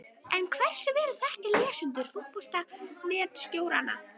En hversu vel þekkja lesendur Fótbolta.net stjórana?